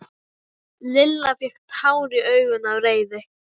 Lilla fékk tár í augun af reiði.